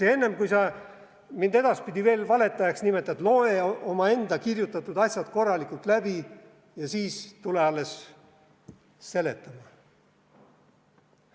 Ja enne, kui sa mind edaspidi veel valetajaks nimetad, loe omakirjutatud asjad korralikult läbi ja siis tule alles seletama!